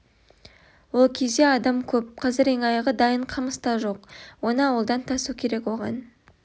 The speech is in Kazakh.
ол кезде адам көп қазір ең аяғы дайын қамыс та жоқ оны ауылдан тасу керек оған